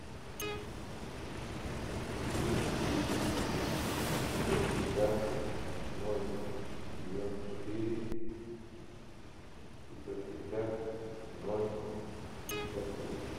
плюс девять пятьсот пятьдесят ноль девяносто четыре пятьсот пятьдесят ноль пятьдесят три